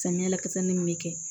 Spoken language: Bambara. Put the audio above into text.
Samiya la kasani min bɛ kɛ